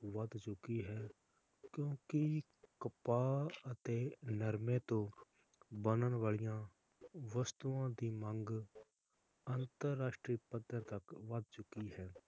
ਵੱਧ ਚੁਕੀ ਹੈ ਕਿਉਂਕਿ ਕਪਾਹ ਅਤੇ ਨਰਮੇ ਤੋਂ ਬਣਨ ਵਾਲਿਆਂ ਵਸਤੂਆਂ ਦੀ ਮੰਗ ਅੰਤਰਰਾਸ਼ਟਰੀ ਪੱਧਰ ਤਕ ਵੱਧ ਚੁਕੀ ਹੈ l